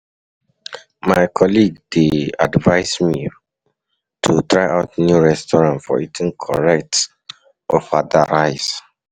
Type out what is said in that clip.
My colleague dey advise me to try out new restaurant for eating correct ofada rice.